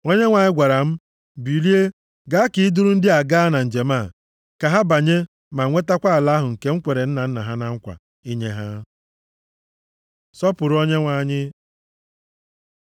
Onyenwe anyị gwara m, “Bilie, gaa ka i duru ndị a gaa na njem ha, ka ha banye, ma nwetakwa ala ahụ nke m kwere nna nna ha na nkwa inye ha.” Sọpụrụ Onyenwe anyị